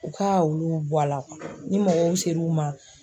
U ka olu bɔ a la ni mɔgɔw ser'u ma